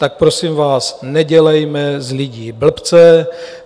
Tak prosím vás, nedělejme z lidí blbce.